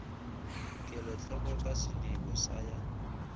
kelotlhoko ka sediko sa ya